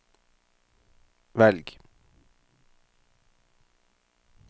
velg